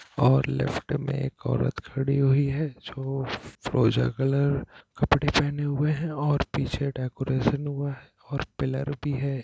और लेफ्ट में एक औरत खड़ी हुई है जो फ़िरोज़ा कलर कपड़े पहने हुए है और पीछे डेकोरेशन हुआ है और पिलर भी है।